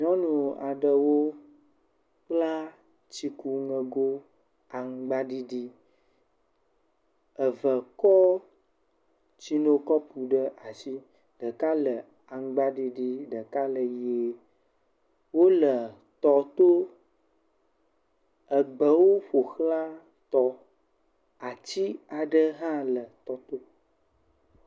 Nyɔnu aɖewo kpla tsikuŋego aŋgbaɖiɖi. Eve kɔ tsinokɔpu ɖe asi, ɖeka le aŋgba ɖiɖi, ɖeka le ʋie, wole tɔ to. Egbewo ƒo xlã tɔ. Ati aɖe hã le tɔa to.